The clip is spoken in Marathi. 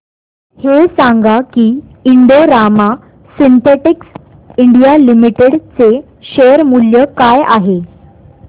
हे सांगा की Indo Rama synthetics India limited चे शेअर मूल्य काय आहे